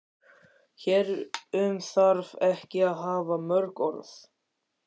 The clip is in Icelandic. Hér um þarf ekki að hafa mörg orð.